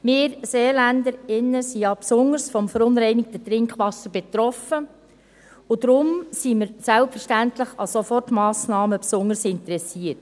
Wir Seeländerinnen und Seeländer sind ja besonders vom verunreinigten Trinkwasser betroffen, und daher sind wir selbstverständlich an Sofortmassnahmen besonders interessiert.